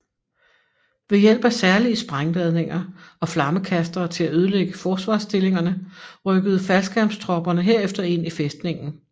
Ved hjælp af særlige sprængladninger og flammekastere til at ødelægge forsvarsstillingerne rykkede faldskærmstropperne herefter ind i fæstningen